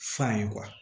F'an ye